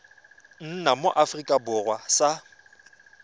nna mo aforika borwa sa